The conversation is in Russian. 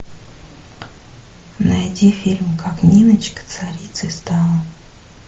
найди фильм как ниночка царицей стала